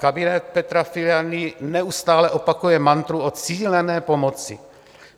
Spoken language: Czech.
Kabinet Petra Fialy neustále opakuje mantru o cílené pomoci.